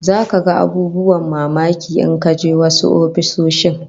Zaka ga abubuwan mamaki in ka je wasu ofisoshin